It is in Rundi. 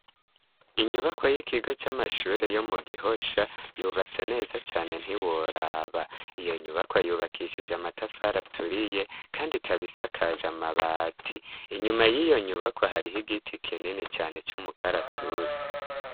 Inyubakwo y'ikigo c'amashure yo mu gihosha yubatse neza cane ntiworaba iyo nyubakwa yubakishije amatafara aturiye, kandi kabisakaje amabati inyuma y'iyo nyubakwa ahariho igiti kinini cane c'umukaratusi.